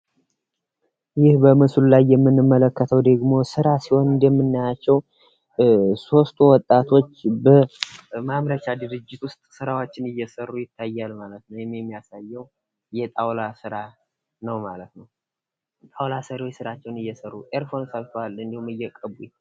ይህ በምስል ላይ የምንመለከተው ስራ ሲሆን እንደምን ናቸው 3 ወጣቶች በማምረት ድርጅቶች ስራዎችን እየሰሩ ይታያል ማለት ነው። የሚያሳየው የጣውላ ስራ ነው ።